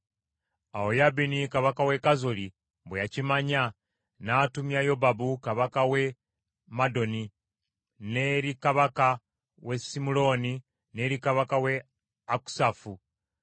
Awo Yabini kabaka w’e Kazoli bwe yakimanya, n’atumya Yobabu kabaka w’e Madoni n’eri kabaka w’e Simuloni n’eri kabaka w’e Akusafu,